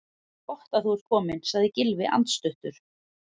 Gott þú ert kominn- sagði Gylfi andstuttur.